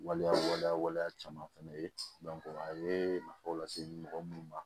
Waleya waleya waleya caman ye a ye nafaw lase mɔgɔ minnu ma